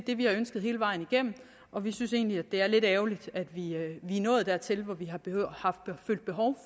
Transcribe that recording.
det vi har ønsket hele vejen igennem og vi synes egentlig at det er lidt ærgerligt at vi er nået dertil